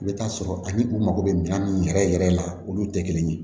I bɛ taa sɔrɔ ani u mago bɛ minan min yɛrɛ yɛrɛ la olu tɛ kelen ye